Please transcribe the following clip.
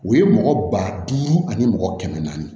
U ye mɔgɔ ba duuru ani mɔgɔ kɛmɛ naani